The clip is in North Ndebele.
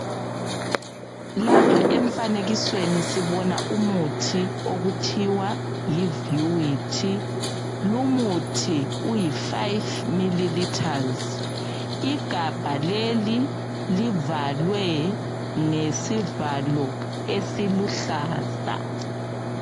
Lapha emfanikesweni sibona umuthi okuthiwa yivuity. Lumuthi uyi5ml, igabha leli livalwe ngesivalo esiluhlaza.